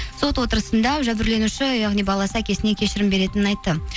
сот отырысында жәбірленуші яғни баласы әкесіне кешірім беретінін айтты